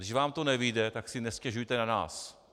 Když vám to nevyjde, tak si nestěžujte na nás.